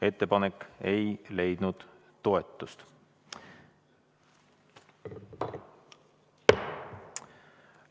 Ettepanek ei leidnud toetust.